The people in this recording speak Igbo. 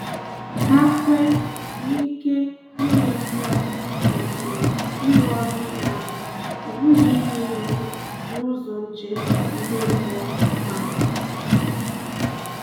Hà kwè na ike ime mmụọ kwesị ịrụ ọrụ inyé aka, ọ bụghị inye iwu n’ụzọ njem ime mmụọ mmadụ.